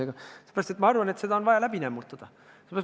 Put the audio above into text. Aga sellepärast, et ma arvan, et see teema on vaja läbi nämmutada.